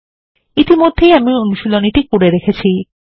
ইতিমধ্যেই আমি অনুশীলনীটি করে রেখেছি